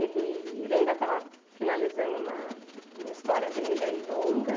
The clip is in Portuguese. Ele ele ainda estava finalizando uma uma história dele aí longa.